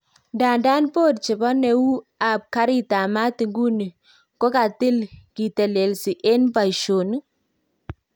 Ndadan board chepo neu ap garit ap maat iguni kokatil kitelesi en paishonik